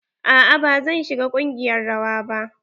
A'a ba zan shiga ƙungiyar rawa ba.